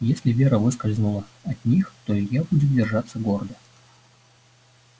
если вера выскользнула от них то илья будет держаться гордо